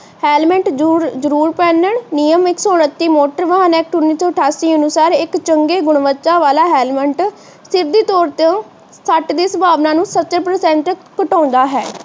Helmet ਜਰੂਰ ਪਾਹਨ ਨਿਯਮ ਇੱਕ ਸੌ ਉਨੱਤੀ ਮੋਟਰ ਵਾਹਨ ਐਕਟ ਉੱਨੀ ਸੌ ਅਠਾਸੀ ਅਨੁਸਾਰ ਇੱਕ ਚੰਗੇ ਗੁਣਵੱਤਾ ਵਾਲਾ ਹੈਲਮੇਟ ਸਿੱਦ ਤੋਰ ਤੇ ਸੱਟ ਦੀ ਸੰਭਾਵਨਾ ਨੂੰ ਸਤਰ ਪ੍ਰਸ਼ਾਂਤ ਘਟਾਉਂਦਾ ਹੈ।